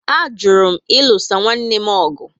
A jụrụ m ilusa nwanne m ọgụ